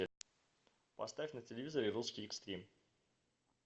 поставь на телевизоре русский экстрим